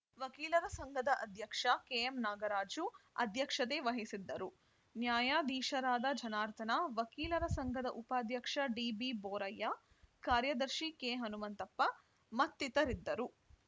ವಕೀಲರ ಸಂಘದ ಅಧ್ಯಕ್ಷ ಕೆಎಂನಾಗರಾಜು ಅಧ್ಯಕ್ಷತೆ ವಹಿಸಿದ್ದರು ನ್ಯಾಯಾಧೀಶರಾದ ಜನಾರ್ದನ ವಕೀಲರ ಸಂಘದ ಉಪಾಧ್ಯಕ್ಷ ಡಿಬಿಬೋರಯ್ಯ ಕಾರ್ಯದರ್ಶಿ ಕೆಹನುಮಂತಪ್ಪ ಮತ್ತಿತರರಿದ್ದರು